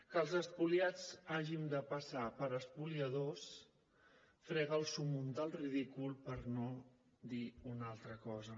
que els espoliats hàgim de passar per espoliadors frega el súmmum del ridícul per no dir una altra cosa